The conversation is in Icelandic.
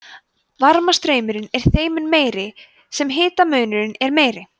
varmastraumurinn er þeim mun meiri sem hitamunurinn er meiri